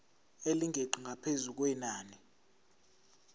elingeqi ngaphezu kwenani